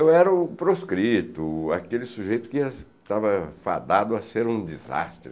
Eu era o proscrito, aquele sujeito que estava fadado a ser um desastre.